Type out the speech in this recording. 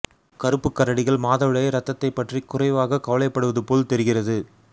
கருப்பு கரடிகள் மாதவிடாய் இரத்தத்தைப் பற்றி குறைவாக கவலைப்படுவது போல் தெரிகிறது